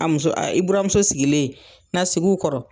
A muso i buramuso sigilen, n'a sig'u kɔrɔ